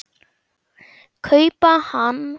kaupa hann.